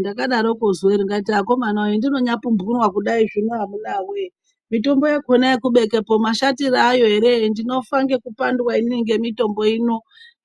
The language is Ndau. Ndakadaroko zuwaro ndikati akomanawe hendinonyambopumbunwa kudai zvino amunawe mitombo yakona yekubekepo mashatire ayo ere ndinofa ngekupandwa inini ngemitombo ino,